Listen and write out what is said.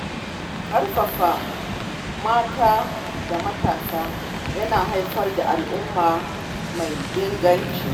Ƙarfafa mata da matasa yana haifar da al’umma mai inganci.